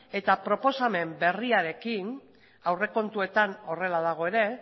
eta proposamen berriarekin aurrekontuetan horrela dago ere